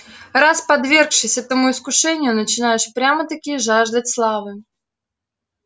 раз подвергшись этому искушению начинаешь прямо-таки жаждать славы